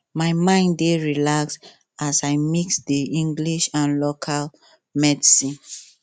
my mind dey relax as i mix the english and local medicine